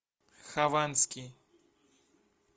хованский